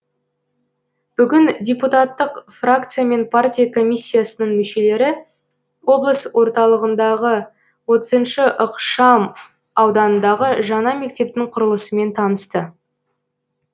бүгін депутаттық фракция мен партия комиссиясының мүшелері облыс орталығындағы отызыншы ықшам ауданындағы жаңа мектептің құрылысымен танысты